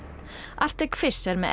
Arctic Fish er með